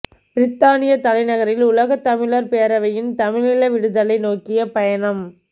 பிரித்தானியத் தலைநகரில் உலகத் தமிழர் பேரவையின் தமிழீழ விடுதலை நோக்கிய பயணம்